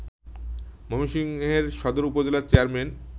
ময়মনসিংহের সদর উপজেলার চেয়ারম্যান